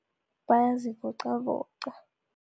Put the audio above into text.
Bayazivoqavoqa.